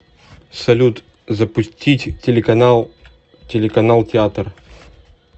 салют запустить телеканал телеканал театр